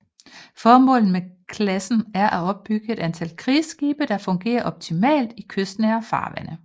Formålet med klassen er at bygget et antal krigsskibe der fungerer optimalt i kystnære farvande